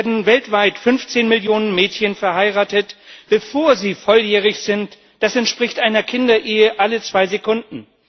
Jährlich werden weltweit 15 Millionen Mädchen verheiratet, bevor sie volljährig sind das entspricht einer Kinderehe alle zwei Sekunden.